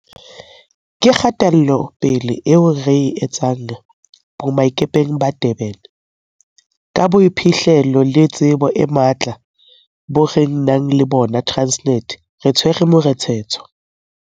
Ka kgatelopele eo re e etsang boemakepeng ba Durban, ka boiphihlelo le tsebo e matla bo re nang le bona Transnet, re tshwere morethetho.